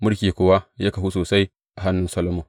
Mulki kuwa ya kahu sosai a hannun Solomon.